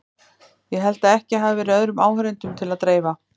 Ég held að ekki hafi verið öðrum áheyrendum til að dreifa.